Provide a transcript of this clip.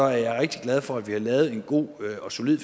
jeg rigtig glad for at vi har lavet en god og solid